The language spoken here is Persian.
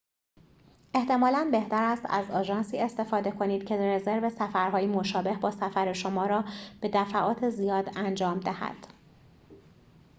احتمالاً بهتر است از آژانسی استفاده کنید که رزرو سفرهایی مشابه با سفر شما را به دفعات زیاد انجام دهد